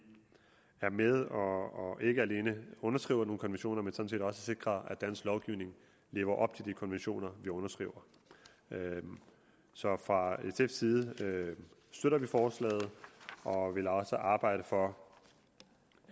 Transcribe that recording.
er med og ikke alene underskriver nogle konventioner men sådan set også sikrer at dansk lovgivning lever op til de konventioner vi underskriver så fra sf’s side støtter vi forslaget og vil også arbejde for